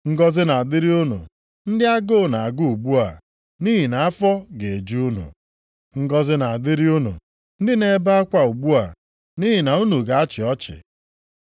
Ngọzị na-adịrị unu ndị agụụ na-agụ ugbu a, nʼihi na afọ ga-eju unu. Ngọzị na-adịrị unu ndị na-ebe akwa ugbu a, nʼihi na unu ga-achị ọchị.